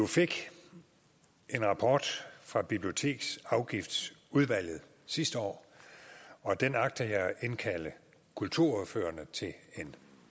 fik en rapport fra biblioteksafgiftsudvalget sidste år og den agter jeg at indkalde kulturordførerne til en